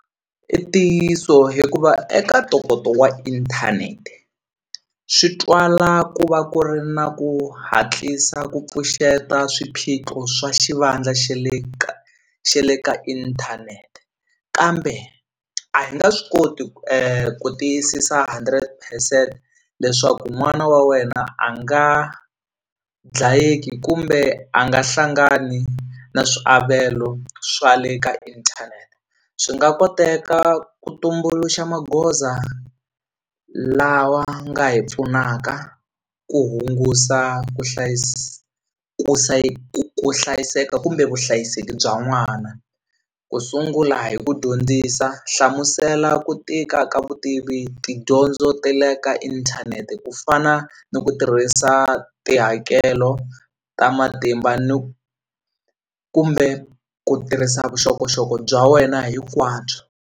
I ntiyiso hikuva eka ntokoto wa inthanete swi twala ku va ku ri na ku hatlisa ku pfuxeta swiphiqo swa xivandla xe le xe le ka inthanete kambe a hi nga swi koti ku ku tiyisisa hundred percent leswaku n'wana wa wena a nga dlayeki kumbe a nga hlangani na swiavelo swa le ka inthanete swi nga koteka ku tumbuluxa magoza lawa nga hi pfunaka ku hungusa ku ku ku ku hlayiseka kumbe vuhlayiseki bya n'wana ku sungula hi ku dyondzisa hlamusela ku tika ka vutivi tidyondzo ta le ka inthanete ku fana ni ku tirhisa tihakelo ta matimba ni kumbe ku tirhisa vuxokoxoko bya wena hinkwabyo.